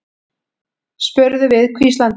spurðum við hvíslandi.